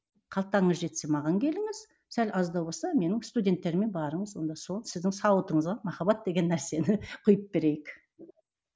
қалтаңыз жетсе маған келіңіз сәл аздау болса менің студенттеріме барыңыз онда сол сіздің сауытыңызға махаббат деген нәрсені құйып берейік